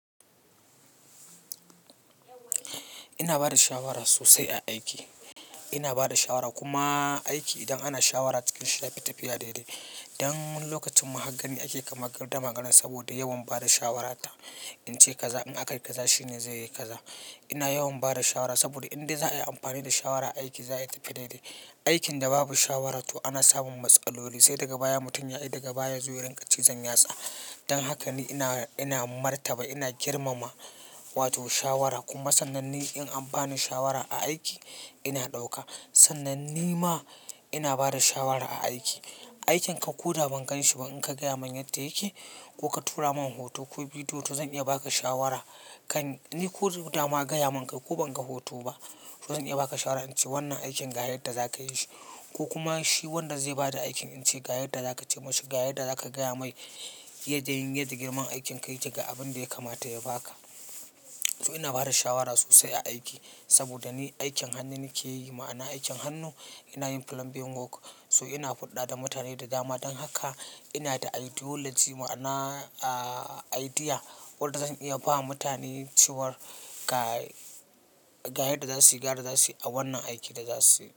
Ina bada shawara sosai a aiki. Ina bada shawara kuma aiki idan ana shawara cikin shi yafi tafi daidai. Dan wani lokacin ma har gani ake kamar gardama garan saboda yawan bada shawarata. In ce kaza in aka yi kaza shine zai yi kaza. Ina yawan bada shawara saboda in dai za a yi amfani da shawara aiki za ya tafi daidai. Aikin da babu shawara to ana samun matsaloli sai daga baya mutum ya yi, daga baya ya zo ya rinƙa cizan yatsa. Dan haka ni ina, ina martaba ina girmama wato shawara kuma sannanni in an bani shawara a aiki ina ɗauka. Sannan nima ina bada shawara a aiki. Aikin ka ko da ba ganshi ba in ka gaya min yadda yake ko ka tura min hoto ko bidiyo to zan iya ba ka shawara. Kan-- ni ko da ba ma gaya mun ka ko ban ga hoto ba, to zan iya ba ka shawara in ce wannan aikin ga yadda za ka yi shi ko kuma shi wanda zai bada aikin in ce ga yadda za ka ce masa, ga yadda za ka gaya mai. Ya je yadda girma aikin ka ya ke ga abin da ya kamata ya ba ka. To ina bada shawara sosai a aiki saboda ni aikin hannu nike yi ma'ana aikin hannu ina yin plumbing work so ina hulɗa da mutane da dama. Dan haka ina da ideology ma'ana, ah, idea wadda zan iya bawa mutane cewar ga, ga yadda za su yi, ga yadda za su yi a wannan aikin da za su yi.